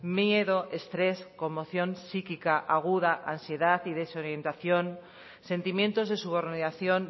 miedo estrés conmoción psíquica aguda ansiedad y desorientación sentimientos de subordinación